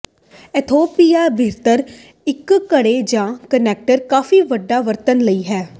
Ethiopia ਬਿਹਤਰ ਇੱਕ ਘੜੇ ਜ ਕੰਟੇਨਰ ਕਾਫ਼ੀ ਵੱਡਾ ਵਰਤਣ ਲਈ ਹੈ